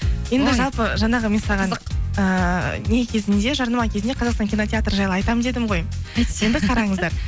жалпы жаңағы мен саған ыыы не кезінде жарнама кезінде қазақстан кинотеатры жайлы айтамын дедім ғой енді қараңыздар